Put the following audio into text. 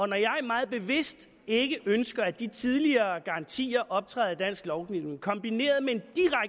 når jeg meget bevidst ikke ønsker at de tidligere garantier optræder i dansk lovgivning kombineret med en